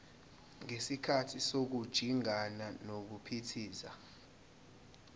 ngesikhathi sokujingana nokuphithiza